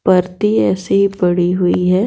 परती ऐसी पड़ी हुई है।